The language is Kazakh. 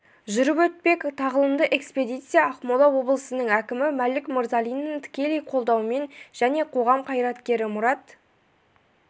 жүріп өтпек тағылымды экспедиция ақмола облысының әкімі мәлік мырзалиннің тікелей қолдауымен және қоғам қайраткері мұрат